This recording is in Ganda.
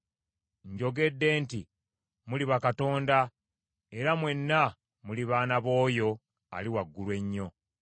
Njogedde nti, Muli bakatonda, era mwenna muli baana b’oyo Ali Waggulu Ennyo.